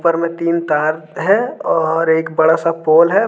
ऊपर में तीन तार है और एक बड़ा सा पोल है।